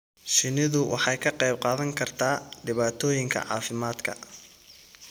Shinnidu waxay ka qayb qaadan kartaa dhibaatooyinka caafimaadka.